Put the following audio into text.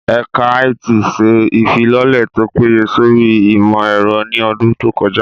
Ẹ̀ka IT ṣe ìfilọ́lẹ̀ tó péye sórí ìmọ̀ ẹ̀rọ ní ọdún tó kọjá